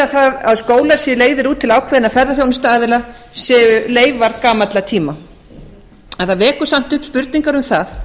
að skólar séu leigðir út til ákveðinna ferðaþjónustuaðila séu leifar gamalla tíma en það vekur samt upp spurningar um það